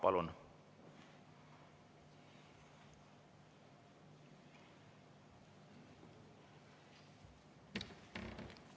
Palun!